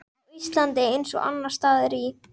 Á Íslandi, eins og annars staðar í